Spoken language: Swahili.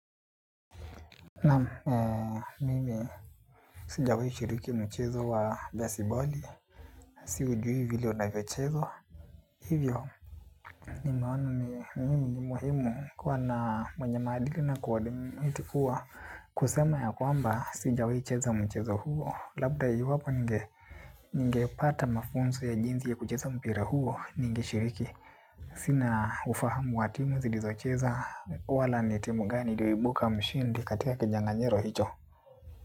Naam, mimi sijawai shiriki mchezo wa jasiboli, si ujui vile onavyo chezwa. Hivyo, nimeona ni mimi ni muhimu kuwa na mwenye maadili na kuadmit kua kusema ya kwamba sijawai cheza mchezo huo. Labda iwapi ninge, ningepata mafunzo ya jinzi ya kucheza mpira huo, ningeshiriki. Sina ufahamu wa timu zilizocheza wala ni timu gani iliibuka mshindi katika kinyanganyiro hicho.